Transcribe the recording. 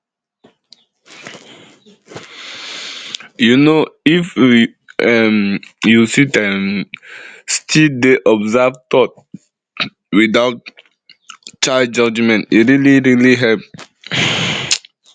you know if um you sit um still dey observe thoughts without chai judgment e really really help